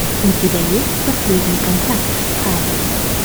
у тебя есть последний контракт халли